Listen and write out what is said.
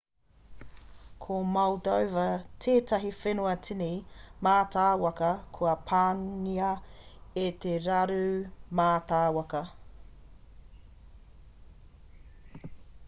ko moldova tētahi whenua tini mātāwaka kua pāngia e te raru mātāwaka